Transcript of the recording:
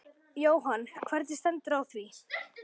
Jóhann: Hvernig stendur á því?